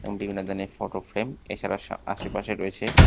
এবং বিভিন্ন ধরণের ফটো ফ্রেম এছাড়া সা-আশেপাশে রয়েছে--